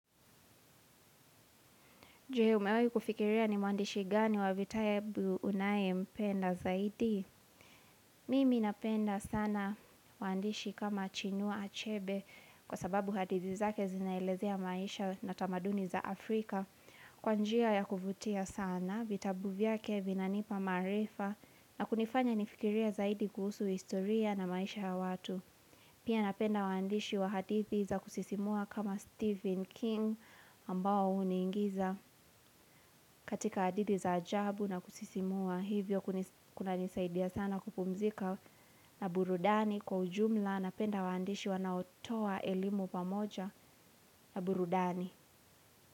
Je umewahi kufikiria ni mwandishi gani wa vitabu unayempenda zaidi? Mimi napenda sana mwandishi kama chinua achebe kwa sababu hadithi zake zinaelezea maisha na tamaduni za Afrika. Kwa njia ya kuvutia sana, vitabu vyake vinanipa maarifa na kunifanya nifikirie zaidi kuhusu historia na maisha ya watu. Pia napenda waandishi wa hadithi za kusisimua kama Stephen King ambao huniingiza katika hadithi za ajabu na kusisimua hivyo kunanisaidia sana kupumzika na burudani kwa ujumla napenda waandishi wanaotoa elimu pamoja na burudani.